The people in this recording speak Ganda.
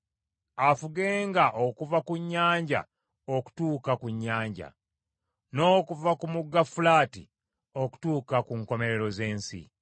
Afugenga okuva ku nnyanja okutuuka ku nnyanja, n’okuva ku mugga Fulaati okutuuka ku nkomerero z’ensi!